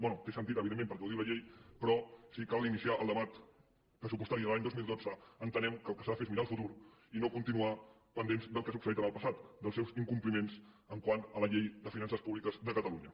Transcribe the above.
bé té sentit evidentment perquè ho diu la llei però si cal iniciar el debat pressupostari de l’any dos mil dotze entenem que el que s’ha de fer és mirar al futur i no continuar pendents del que ha succeït en el passat dels seus incompliments quant a la llei de finances públiques de catalunya